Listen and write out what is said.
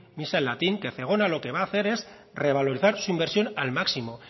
misa en latín que zegona lo que va hacer es revalorizar su inversión al máximo